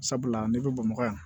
Sabula ne bɛ bamakɔ yan